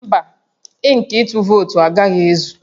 Mba, ink ịtụ vootu agaghị ezu